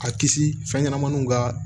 A kisi fɛn ɲɛnamaninw ka